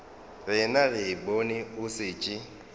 rena re bone o šetše